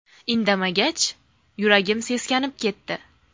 Indamagach, yuragim seskanib ketdi.